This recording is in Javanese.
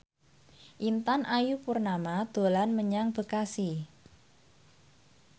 Intan Ayu Purnama dolan menyang Bekasi